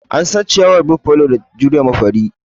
An san ciyawar Buffalo da jurewa fari.